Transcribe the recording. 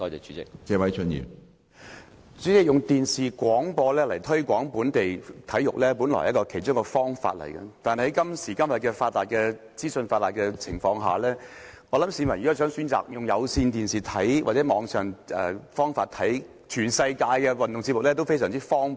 主席，透過電視廣播推廣本地體育運動，本來是其中一個可行方法，但是今天資訊發達，市民想從電視或網上電視收看全世界的運動節目，也是非常方便。